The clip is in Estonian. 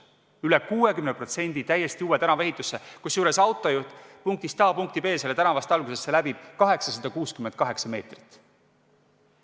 Üle 60% läks täiesti uue tänava ehitusse, kusjuures autojuht punktist A punkti B sellel tänaval sõites läbib 868 meetrit.